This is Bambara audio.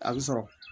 A bɛ sɔrɔ